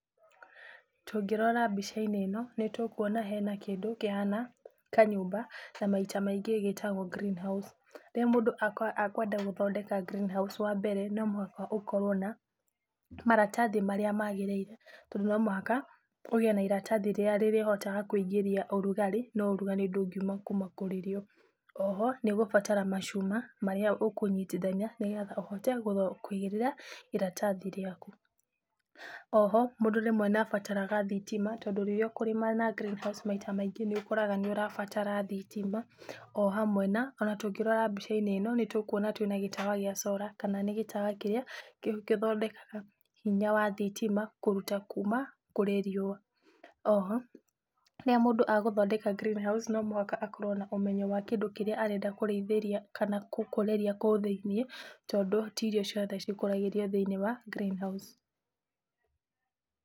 Tũngĩrora mbica-inĩ ĩno, nĩ tũkuona hena kĩndũ kĩhana kanyũmba na maita maingĩ gĩtagwo greenhouse. Rĩrĩa mũndũ akwenda gũthondeka greenhouse, wambere, no mũhaka ũkorwo na maratathi marĩa magĩrĩire tondũ no mũhaka ũgĩe na iratathi rĩrĩa rĩrĩhotaga kũingĩria ũrugarĩ, no ũrugarĩ ndũngiuma kuma kũrĩ rĩo. Oho nĩ ũgũbatara macuma marĩa ũkũnyitithania nĩgetha ũhote kũigĩrĩra iratathi rĩaku. Oho mũndũ rĩmwe nĩ abataraga thitima tondũ rĩrĩa ũkũrĩma na greenhouse, maita maingĩ nĩ ũkoraga nĩ ũrabatara thitima ohamwe na, ona tũngĩrora mbica-inĩ ĩno, nĩtũkuona twĩna gĩtawa gĩa solar, kana nĩ gĩtawa kĩrĩa gĩthondekaga hinya wa thitima kũruta kuma kũrĩ riũa. Oho, rĩrĩa mũndũ agũthondeka greenhouse no mũhaka akorwo na ũmenyo wa kĩndũ kĩrĩa arenda kũrĩithĩria kana gũkũrĩria kũu thĩiniĩ, tondũ ti irio ciothe cikũragĩrio thĩiniĩ wa greenhouse.